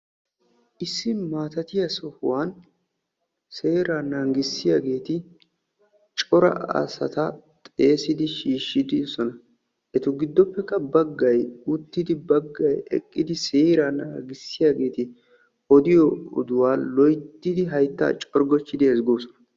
Issi maattatiya sohuwan seera naagissiyagetta cora asatta xeegiddi odossonna. Ettikka odiyo oduwa loyttiddi haytta corggochchiddi siyyosonna.